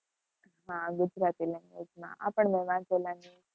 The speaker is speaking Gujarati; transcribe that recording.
હા, ગુજરાતી language માં, આપણને વાચેલાની